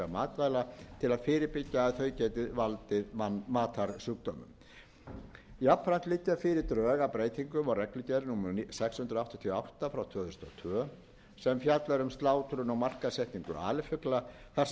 matvæla til að fyrirbyggja að þau geti valdið matarsjúkdómum jafnframt liggja fyrir drög að breytingum á reglugerð númer sex hundruð áttatíu og átta tvö þúsund og tvö sem fjallar um slátrun og markaðssetningu alifugla þar sem